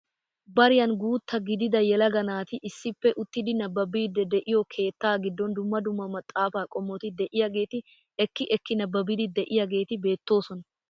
Bariyaan guutta gidida yelaga naati issippe uttidi nababiidi de'iyoo keettaa giddon dumma dumma maxafaa qommoti de'iyaageti ekki ekki nababiidi de'iyaageti beettoosona.